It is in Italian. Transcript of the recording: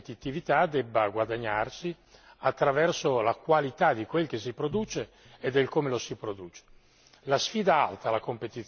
C'è chi pensa, invece, che la competitività debba guadagnarsi attraverso la qualità di quel che si produce e del come lo si produce.